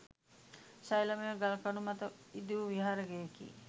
ශෛලමය ගල්කණු මත ඉදිවු විහාර ගෙයකි.